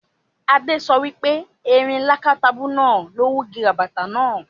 Adé so wipe erin lákátabú náà ló wugi ràbàtà náà